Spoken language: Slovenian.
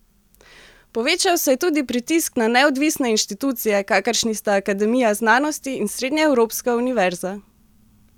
Povečal se je tudi pritisk na neodvisne inštitucije, kakršni sta Akademija znanosti in Srednjeevropska univerza.